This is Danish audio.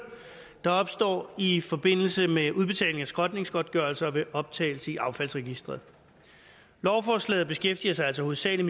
der opstår i forbindelse med udbetaling af skrotningsgodtgørelse ved optagelse i affaldsregistret lovforslaget beskæftiger sig hovedsagelig